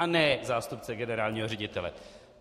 A ne zástupce generálního ředitele.